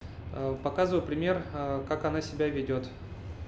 а показываю пример а как она себя ведёт